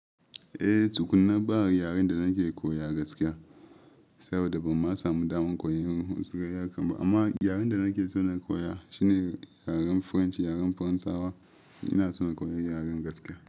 Eh, tukunna baa yaren da nake koya gaskiya, saboda ban ma samu damar koyan wasu yariri kam ba. Amma yaren da nake so na koya shine yaren French, yaren Faransawa. Ina so na koyi yaren gaskiya.